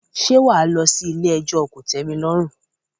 Ṣé wà á lọ sí ilé ẹjọ́ kò tẹ́mi lọ́rùn?